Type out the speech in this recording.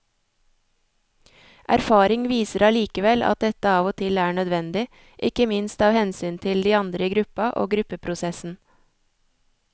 Erfaring viser allikevel at dette av og til er nødvendig, ikke minst av hensyn til de andre i gruppa og gruppeprosessen.